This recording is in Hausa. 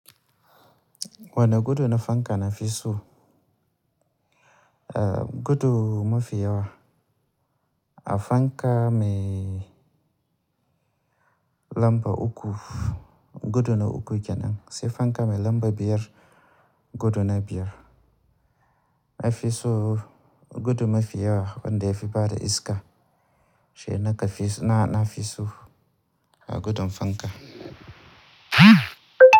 Wani gudu na fanka na fi so? Ah gudu mafi yawa a fanka mai lamba uku, gudu na uku kenan. Sai fanka mai lamba biyar, gudu na biyar. Ai fi so gudu mafi yawa wanda yafi bada iska. Shi naka na fi so a gudun fanka.